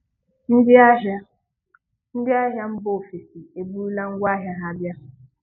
Ndị́ ahị́á Ndị́ ahị́á mbà òfèsí èbúrúlá ṅgwá áhị́a ha bịa